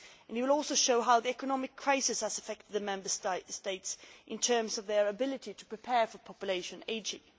It will also show how the economic crisis has affected the Member States in terms of their ability to prepare for population ageing.